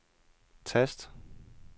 tast